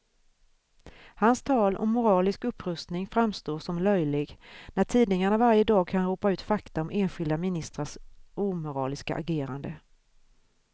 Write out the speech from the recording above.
Hans tal om moralisk upprustning framstår som löjlig, när tidningarna varje dag kan ropa ut fakta om enskilda ministrars omoraliska agerande.